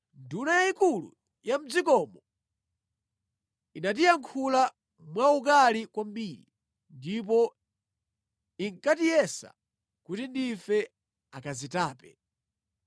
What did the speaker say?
“Nduna yayikulu ya mʼdzikomo inatiyankhula mwa ukali kwambiri ndipo inkatiyesa kuti ndife akazitape.